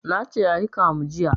Nace ayi kamu jiya